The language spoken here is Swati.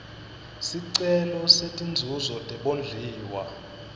sicelo setinzuzo tebondliwa